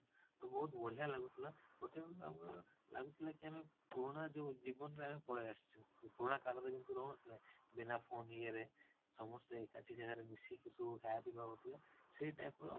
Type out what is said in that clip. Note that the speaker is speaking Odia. ତ ଅଭୁତ ବଢିଆ ଲାଗୁଥିଲା ଗୋଟେ time ଆମକୁ ଲାଗୁଥିଲା କି ଆମେ ପୁରୁଣା ଯୋଉ ଜୀବନରେ ଆମେ ପଳେଇ ଅଶିଛୁ, ପିରୁଣା କାଳରେ ଯେମିତି ରହୁ ନଥିଲେ ବିନା phone ୟେ ରେ ସମସ୍ତେ ଏକାଠି ଜାଗାରେ ମିଶିକି ସବୁ ଖାଇବା ପିଇବା ହଉଥିଲା ସେଇ type ର